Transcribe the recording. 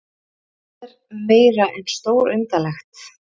Þetta er meira en stórundarlegt